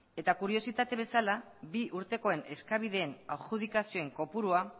kuriositate bezala bi urtekoen eskabideen adjudikazioen kopurua